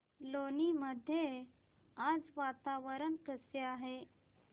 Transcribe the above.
लोणी मध्ये आज वातावरण कसे आहे